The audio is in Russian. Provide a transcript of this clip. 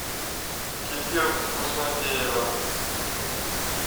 кефир вкуснотеево